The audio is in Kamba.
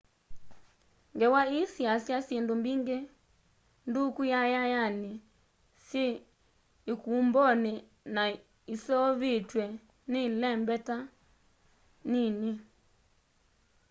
ngewa ii yiasya syindu mbingi nduku yayayani syi ikumboni na iseovitwe ni ilembeta nini